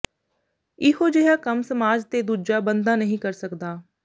ਇਹੋਂ ਜਿਹਾ ਕੰਮ ਸਮਾਜ ਤੇ ਦੂਜਾਂ ਬੰਦਾ ਨਹੀਂ ਕਰ ਸਕਦਾ